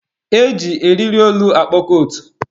E ji eriri olu akpọ kootu.